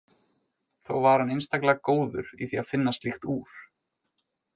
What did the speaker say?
Þó var hann einstaklega góður í því að finna slíkt úr.